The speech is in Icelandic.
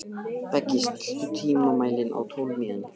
Beggi, stilltu tímamælinn á tólf mínútur.